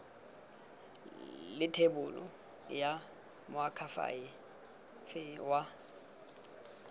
le thebolo ya moakhaefe wa